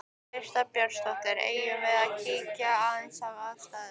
Birta Björnsdóttir: Eigum við að kíkja aðeins á aðstæður?